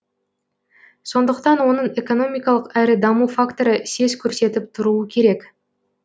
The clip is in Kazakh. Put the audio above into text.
сондықтан оның экономикалық әрі даму факторы сес көрсетіп тұруы керек